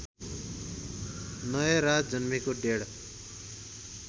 नयराज जन्मेको डेढ